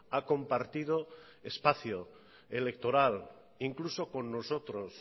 ha compartido espacio electoral incluso con nosotros